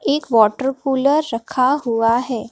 एक water cooler रखा हुआ है।